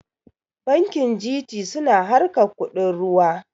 Bankin G.T suna harkar kuɗin ruwa